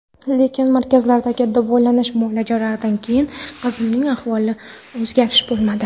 Lekin, markazlardagi davolanish muolajalaridan keyin qizimning ahvolida o‘zgharish bo‘lmadi.